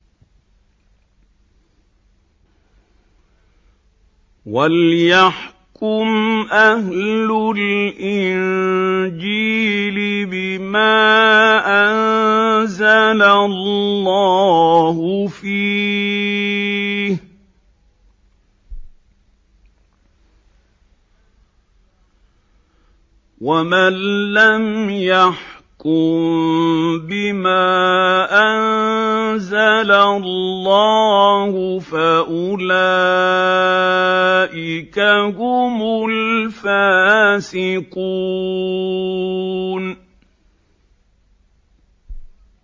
وَلْيَحْكُمْ أَهْلُ الْإِنجِيلِ بِمَا أَنزَلَ اللَّهُ فِيهِ ۚ وَمَن لَّمْ يَحْكُم بِمَا أَنزَلَ اللَّهُ فَأُولَٰئِكَ هُمُ الْفَاسِقُونَ